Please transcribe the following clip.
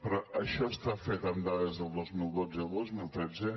però això està fet amb dades del dos mil dotze i el dos mil tretze